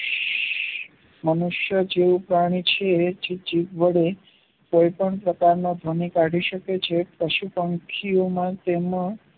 મનુષ્ય જેવું પ્રાણી છે જે જીભ વડે કોઈ પણ પ્રકારનાકમી કાઢી શકે છે જે પશુ પંખીઓ માં તેનો